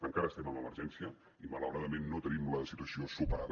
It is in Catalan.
encara estem en emergència i malauradament no tenim la situació superada